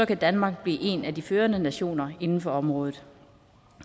kan danmark blive en af de førende nationer inden for området